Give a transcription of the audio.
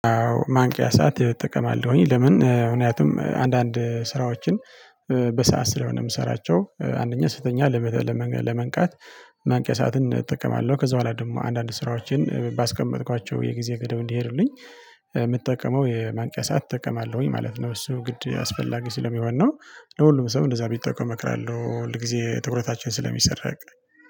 ማንቂያ ሰዓት እጠቀማለሁኝ ለምን ምክንያቱም አንዳንድ ስራዎችን በሰአት ስለሆነ የምሰራቸው አንደኛ ስተኛ ለመንቃት ማንቄቂያ ሰዓትን እጠቀማለሁ። ከዛ በኋላ ደግሞ አንዳንድ ስራዎችን ባስቀመጥኳቸው የጊዜ ገደብ እንዲሄዱልኝ የምጠቀመው የማንቀቂያ ሰዓት እጠቀማለሁኝ ማለት ነው። እሱ ግድ አስፈላጊ ስለሚሆን ነው። ለሁሉም ሰው እንደዛ ቢጠቀሙ እመክራለሁ ሁልጊዜ ትኩረታችን ስለሚሰረቅ